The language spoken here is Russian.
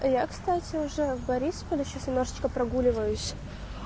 я кстати уже в борисполе сейчас немножечко прогуливаюсь